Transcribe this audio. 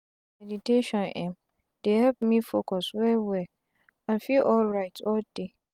meditation em dey help me focus wel-wel and feel alrit all day.